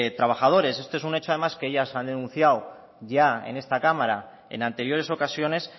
trabajadores esto es un hecho además que ellas han denunciado ya en esta cámara en anteriores ocasiones